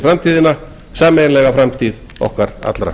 framtíðina sameiginlega framtíð okkar allra